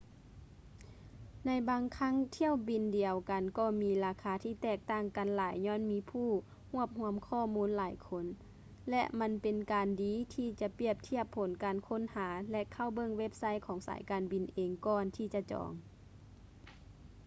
ໃນບາງຄັ້ງຖ້ຽວບິນດຽວກັນກໍມີລາຄາທີ່ແຕກຕ່າງກັນຫຼາຍຍ້ອນມີຜູ້ຮວບຮວມຂໍ້ມູນຫຼາຍຄົນ ແລະ ມັນເປັນການດີທີ່ຈະປຽບທຽບຜົນການຄົ້ນຫາ ແລະ ເຂົ້າເບິ່ງເວັບໄຊຂອງສາຍການບິນເອງກ່ອນທີ່ຈະຈອງ